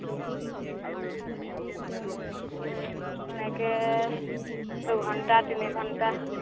এনেকে দুঘন্টা তিনি ঘন্টা